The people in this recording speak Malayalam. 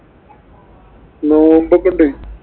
നോമ്പോക്കെ ഉണ്ട്.